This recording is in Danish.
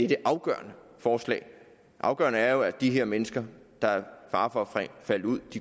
det afgørende forslag det afgørende er jo at de her mennesker der er i fare for at falde ud